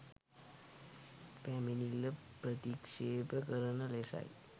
පැමිණිල්ල ප්‍රතික්ෂේප කරන ලෙසයි